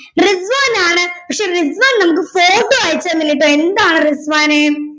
റിസ്‌വാൻ ആണ് പക്ഷെ റിസ്‌വാൻ നമുക്ക് photo അയച്ച്തന്നില്ലാട്ടൊ എന്താണ് റിസ്‌വാനേ